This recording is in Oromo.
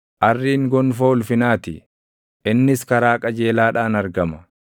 Arriin gonfoo ulfinaa ti; innis karaa qajeelaadhaan argama.